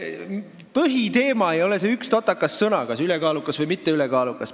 Põhiteema ei ole see üks totakas sõna – kas "ülekaalukas" või "mitte ülekaalukas".